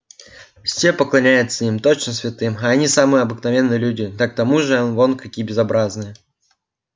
все поклоняются им точно святым а они самые обыкновенные люди да к тому же вон какие безобразные